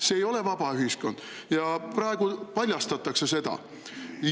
See ei ole vaba ühiskond ja praegu paljastatakse seda.